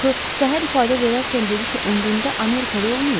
Axı səhər ifadə verərkən dedi ki, ömründə Amerikada olmayıb?